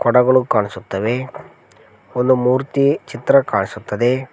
ಗುಡ್ಡಗಳು ಕಾಣಿಸುತ್ತವೆ ಒಂದು ಮೂರ್ತಿ ಚಿತ್ರ ಕಾಣಿಸುತ್ತದೆ.